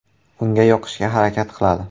Unga yoqishga harakat qiladi.